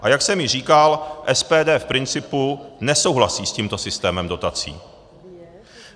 A jak jsem již říkal, SPD v principu nesouhlasí s tímto systémem dotací.